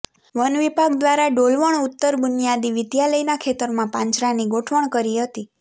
વનવિભાગ દ્વારા ડોલવણ ઉત્તર બુનિયાદી વિદ્યાલયના ખેતરમાં પાંજરાની ગોઠવણ કરી હતી